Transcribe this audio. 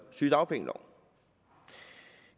sygedagpengeloven